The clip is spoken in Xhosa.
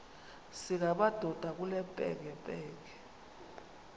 singamadoda kule mpengempenge